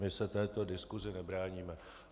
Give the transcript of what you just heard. My se této diskusi nebráníme.